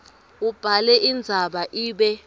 ubhale indzaba ibe